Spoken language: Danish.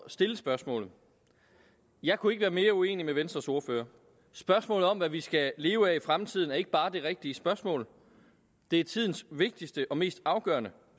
stille spørgsmålet jeg kunne ikke være mere uenig med venstres ordfører spørgsmålet om hvad vi skal leve af i fremtiden er ikke bare det rigtige spørgsmål det er tidens vigtigste og mest afgørende